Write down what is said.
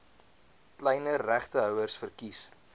kleiner regtehouers verkies